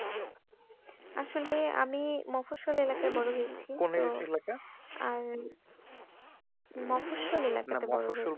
আসলে আমি এলাকায় বড়ো হয়েছি কোন এলাকায়? আহ মহাশোল এলাকায় না মহাশোল